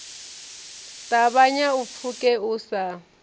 ṱavhanya u pfuke u sa